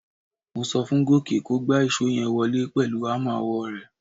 Mo so fún Gòkè kó gba ìṣó yẹn wọlé pẹ̀lú hámà ọwọ́ rẹ̀.